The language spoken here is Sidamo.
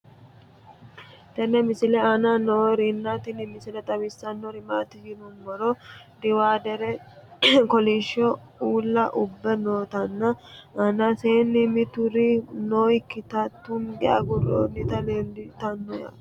tenne misile aana noorina tini misile xawissannori maati yinummoro diwaadere kolishsho uulla ubbe noottinna aannasse mitturi noyiikkitta tunnge aguroonntti leelittanno nootti